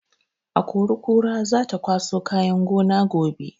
Akori-kora za ta kwaso kayan gona gobe.